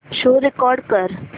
show record कर